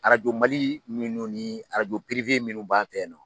Arajo Mali minnu ni arajo minnu b'an fɛ yen nɔ.